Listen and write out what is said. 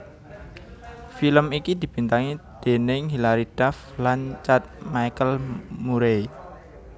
Film iki dibintangi déning Hillary Duff lan Chad Michael Murray